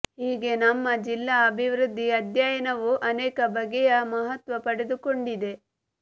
ಹೀಗೆ ನಮ್ಮ ಜಿಲ್ಲಾ ಅಭಿವೃದ್ಧಿ ಅಧ್ಯಯನವು ಅನೇಕ ಬಗೆಯ ಮಹತ್ವ ಪಡೆದುಕೊಂಡಿದೆ